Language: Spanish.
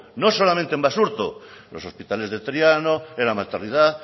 no solamente en basurto los hospitales de triano en la maternidad